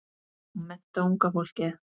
Og mennta unga fólkið.